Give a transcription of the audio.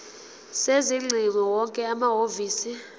sezingcingo wonke amahhovisi